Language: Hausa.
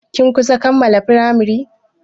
Kin kusan kammala firamari?